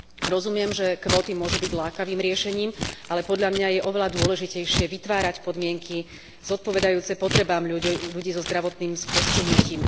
Rozumiem, že kvóty môžu byť lákavým riešením, ale podľa mňa je oveľa dôležitejšie vytvárať podmienky zodpovedajúce potrebám ľudí so zdravotným postihnutím.